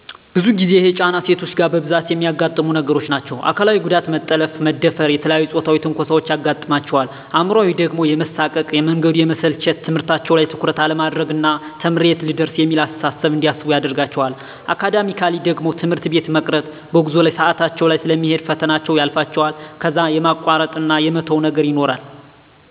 ብዙ ጊዜ ይሄ ጫና ሴቶች ጋ በብዛት እሚያጋጥሙ ነገሮች ናቸዉ። አካላዊ ጉዳት መጠለፍ፣ መደፈር፣ የተለያዬ ፆታዊ ትንኮሳዎች ያጋጥማቸዋል። አእምሯዊ ደሞ የመሳቀቅ፣ መንገዱ የመሰልቸት፣ ትምህርታቸዉ ላይ ትኩረት አለማድረግ ና ተምሬ የት ልደርስ እሚል አስተሳሰብ እንዲያስቡ ያደርጋቸዋል። አካዳሚካሊ ደሞ ትምህርት ቤት የመቅረት፣ በጉዞ ላይ ሰአታቸዉ ስለሚሄድ ፈተናዎች ያልፋቸዋል ከዛ የማቋረጥ እና የመተዉ ነገር ይኖራል።